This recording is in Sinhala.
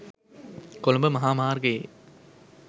කොළඹ මහා මාර්ගයේ